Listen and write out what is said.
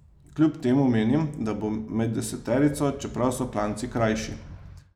Kljub temu menim, da bo med deseterico, čeprav so klanci krajši.